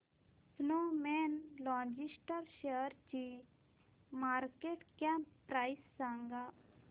Snowman logist शेअरची market cap price सांगा